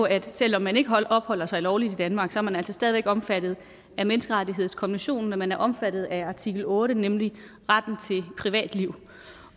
at selv om man ikke opholder sig lovligt i danmark er man altså stadig væk omfattet af menneskerettighedskonventionen man er omfattet af artikel otte nemlig retten til privatliv